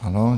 Ano.